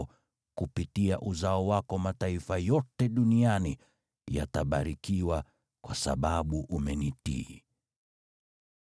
na kupitia uzao wako mataifa yote duniani yatabarikiwa, kwa sababu umenitii.”